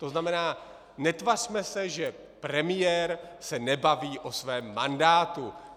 To znamená, netvařme se, že premiér se nebaví o svém mandátu.